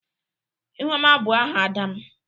ihuoma bu aha ada m.